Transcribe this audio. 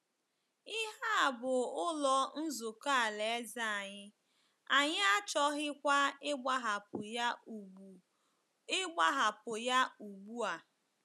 Ihe a bụ Ụlọ Nzukọ Alaeze anyị, anyị achọghịkwa ịgbahapụ ya ugbu ịgbahapụ ya ugbu a. ”